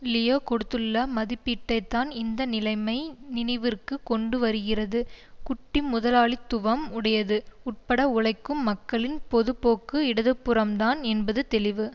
Leo கொடுத்துள்ள மதிப்பீட்டை தான் இந்த நிலைமை நினைவிற்குக் கொண்டு வருகிறது குட்டி முதலாளித்துவம் உடையது உட்பட உழைக்கும் மக்களின் பொது போக்கு இடதுபுறம்தான் என்பது தெளிவு